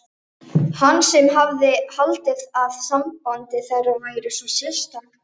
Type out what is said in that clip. Hann sem hafði haldið að samband þeirra væri svo sérstakt.